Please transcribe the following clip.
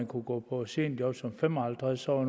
kunne gå på seniorjob som fem og halvtreds årig